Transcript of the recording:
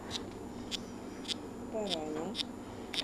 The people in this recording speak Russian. парана